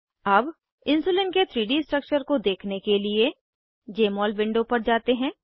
अब इन्सुलिन के 3डी स्ट्रक्चर को देखने के लिए जमोल विंडो पर जाते हैं